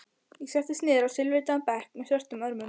Ég settist niður á silfurlitaðan bekk með svörtum örmum.